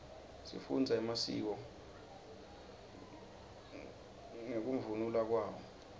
sifundza emasiko ngekunluka kwawo